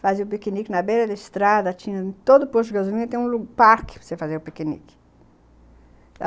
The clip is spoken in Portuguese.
Fazia o piquenique na beira da estrada, tinha todo o poço de gasolina, tinha um parque para você fazer o piquenique.